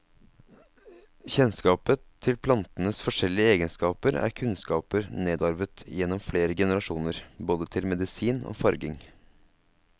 Kjennskapet til plantenes forskjellige egenskaper er kunnskaper nedarvet igjennom flere generasjoner, både til medisin og farging.